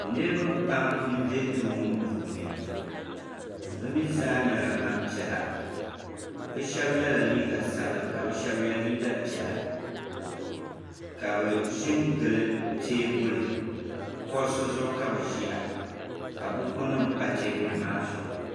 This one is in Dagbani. Niraba pam n bɛ duu ŋo puuni bi mii zaa nyɛla Gbanpiɛla bi shab yɛla liiga sabila ka bi shab yɛ liiga piɛla ka bi ʒi n gili teebuli kuɣusi zuɣu ka bi ʒiya ka buku nim pa teebuli maa zuɣu